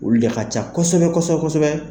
Olu de can kosɛbɛ kosɛbɛ.